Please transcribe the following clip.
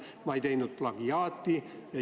Ma ei teinud plagiaati.